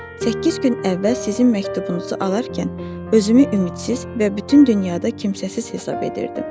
Səkkiz gün əvvəl sizin məktubunuzu alarkən, özümü ümidsiz və bütün dünyada kimsəsiz hesab edirdim.